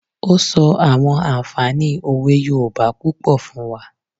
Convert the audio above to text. Ó sọ àwọn ànfààní òwe yoòbá púpọ̀ fún wa